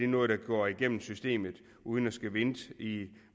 noget der går igennem systemet uden at skulle vente